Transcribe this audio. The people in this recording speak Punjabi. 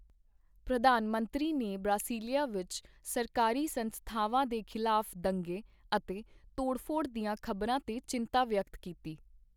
ਪ੍ਰਧਾਨ ਮੰਤਰੀ ਨੇ ਬ੍ਰਾਸੀਲੀਆ ਵਿੱਚ ਸਰਕਾਰੀ ਸੰਸਥਾਵਾਂ ਦੇ ਖ਼ਿਲਾਫ਼ ਦੰਗੇ ਅਤੇ ਤੋੜਫੋੜ ਦੀਆਂ ਖਬਰਾਂ ਤੇ ਚਿੰਤਾ ਵਿਅਕਤ ਕੀਤੀ।